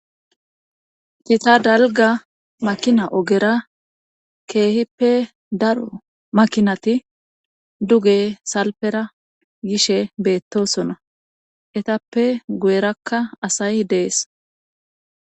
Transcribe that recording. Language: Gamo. Gita dalga makina ogera keehippe daro makinati duge salpera gishe beettosona etappe guyerakka asay dees.